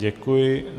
Děkuji.